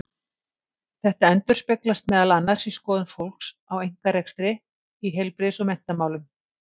Þetta endurspeglast meðal annars í skoðun fólks á einkarekstri í heilbrigðis- og menntamálum.